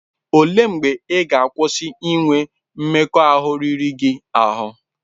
O lee mgbe ị ga-akwụsị inwe mmekọahụ riri gị ahụ?